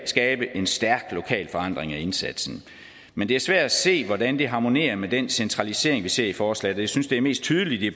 skabe en stærk lokal forankring af indsatsen men det er svært at se hvordan det harmonerer med den centralisering vi ser i forslaget jeg synes det er mest tydeligt i